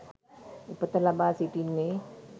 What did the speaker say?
උපත ලබා සිටින්නේ